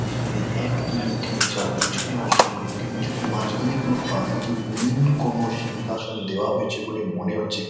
যেখানে এক দুই তিন চার। পিছনে এবং সামনে তিনজন। মাঝখানে কোনো পাদ্রীকে মেইন কোনো সিংহাসন দেয়া হয়েছে বলে মনে হচ্ছে ।